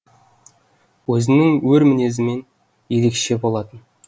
өзінің өр мінезімен ерекше болатын